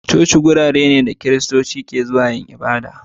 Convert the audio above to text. Coci wurare ne da Kiristoci ke zuwa yin ibada.